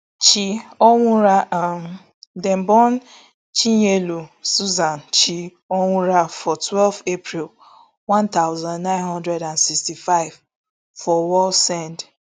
chi onwurah um dem born chinyelu susan chi onwurah for twelve april one thousand, nine hundred and sixty-five for wallsend